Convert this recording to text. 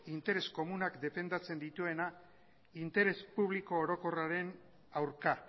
interes komunak defendatzen dituena interes publiko orokorraren aurka